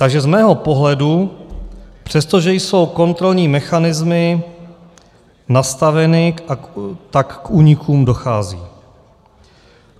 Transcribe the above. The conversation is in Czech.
Takže z mého pohledu, přestože jsou kontrolní mechanismy nastaveny, tak k únikům dochází.